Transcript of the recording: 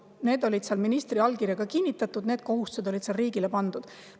Need olid seal ministri allkirjaga kinnitatud, need kohustused olid riigile pandud.